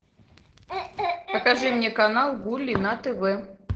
покажи мне канал гули на тв